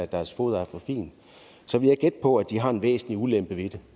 deres foder er for fint så vil jeg gætte på at de har en væsentlig ulempe ved det